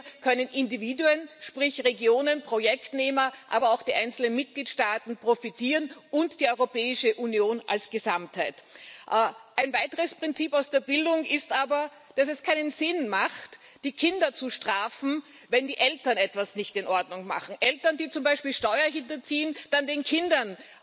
Hier können Individuen sprich Regionen, Projektnehmer aber auch die einzelnen Mitgliedstaaten und die Europäische Union als Gesamtheit profitieren. Ein weiteres Prinzip aus der Bildung ist aber, dass es keinen Sinn macht, die Kinder zu strafen, wenn die Eltern etwas nicht in Ordnung machen, zum Beispiel, wenn Eltern Steuern hinterziehen, den Kindern